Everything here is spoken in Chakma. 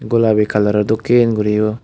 golabi colouror dokken guri yo.